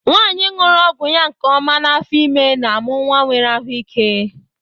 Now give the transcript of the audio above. Nwanyi ñụrụ ọgwụ ya nke ọma n'afọ ime n'amụ nwa nwere ahụ ike.